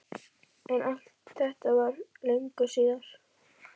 En allt þetta var löngu síðar.